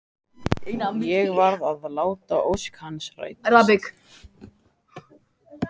Ég varð að láta ósk hans rætast.